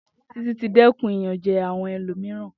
Titi ti dẹkun iyanjẹ awọn ẹlomiran.